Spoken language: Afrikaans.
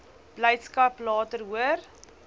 blydskap later hoor